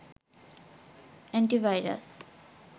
antivirus